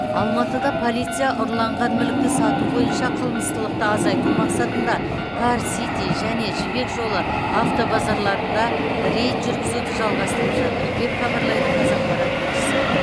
алматыда полиция ұрланған мүлікті сату бойынша қылмыстылықты азайту мақсатында кар сити және жібек жолы автобазарларында рейд жүргізуді жалғастырып жатыр деп хабарлайды қазақпарат тілшісі